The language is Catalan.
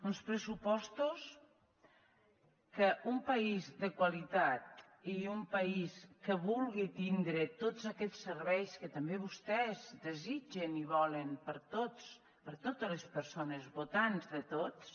uns pressupostos que un país de qualitat i un país que vulgui tindre tots aquests serveis que també vostès desitgen i volen per a tots per a totes les persones votants de tots